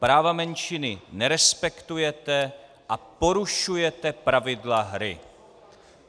Práva menšiny nerespektujete a porušujete pravidla hry.